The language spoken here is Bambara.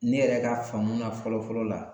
Ne yɛrɛ ka faamu na fɔlɔ fɔlɔ la